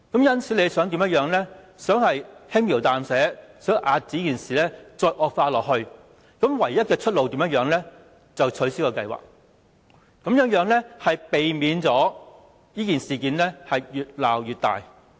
因此，政府便想輕描淡寫，遏止這件事惡化下去，而唯一的出路便是否決這項計劃，從而避免這事件越鬧越大。